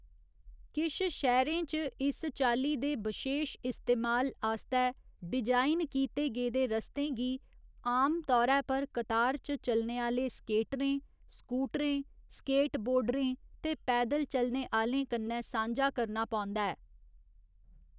किश शैह्‌रें च इस चाल्ली दे बशेश इस्तेमाल आस्तै डिजाइन कीते गेदे रस्तें गी आमतौरै पर कतार च चलने आह्‌ले स्केटरें, स्कूटरें, स्केटबोर्डरें ते पैदल चलने आह्‌लें कन्नै सांझा करना पौंदा ऐ।